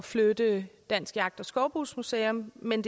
flytte dansk jagt og skovbrugsmuseum men